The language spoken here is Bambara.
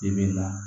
I bi na